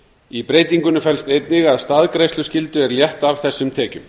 í breytingunni felst einnig að staðgreiðsluskyldu er létt af þessum tekjum